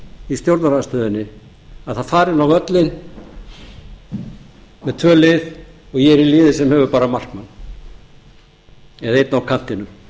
í stjórnarandstöðunni að það fara inn á völlinn tvö lið og ég er í liði sem hefur bara markmann eða einn á kantinum